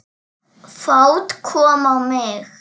Fát kom á mig.